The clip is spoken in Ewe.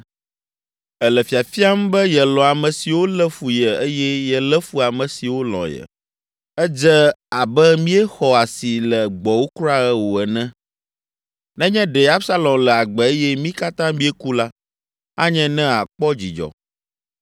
Èle fiafiam be yelɔ̃ ame siwo lé fu ye eye yelé fu ame siwo lɔ̃ ye. Edze abe míexɔ asi le gbɔwò kura o ene. Nenye ɖe Absalom le agbe eye mí katã míeku la, anye ne àkpɔ dzidzɔ.